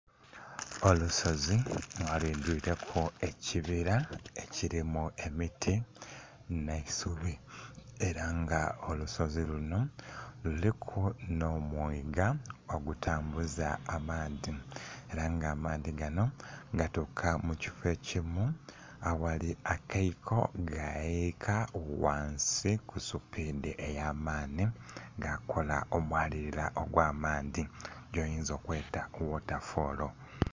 Olusozi nga lwidhwileku ekibila ekilimu emiti nhe isubi ela nga olusozi lunho, luliku nho mwiga ogutambuza amaadhi ela nga amaadhi ganho gatuuka mu kifo ekimu aghali akaiko ga yiyika ghansi ku supiidhi eya maanhi ga kola omwalilila ogwa maanhi goyinza okweeta water fall.